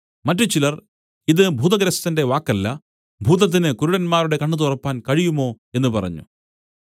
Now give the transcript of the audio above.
മറ്റുചിലർ ഇതു ഭൂതഗ്രസ്തന്റെ വാക്കല്ല ഭൂതത്തിന് കുരുടന്മാരുടെ കണ്ണ് തുറപ്പാൻ കഴിയുമോ എന്നു പറഞ്ഞു